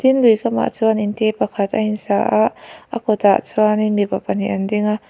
tin lui kamah chuan inte pakhat a insa a a kawtah chuanin mipa pahnih an ding a.